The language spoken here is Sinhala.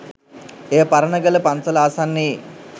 එය පරණගල පන්සල ආසන්නයේ